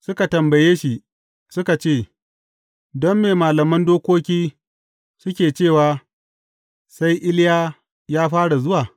Suka tambaye shi, suka ce, Don me malaman dokoki suke cewa, sai Iliya ya fara zuwa?